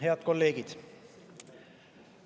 Head kolleegid!